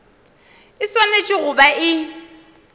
e swanetše go ba e